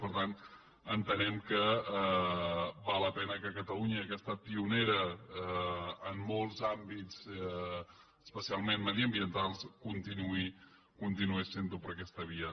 i per tant entenem que val la pena que catalunya que ha estat pionera en molts àmbits especialment mediambientals continuï sent ho per aquesta via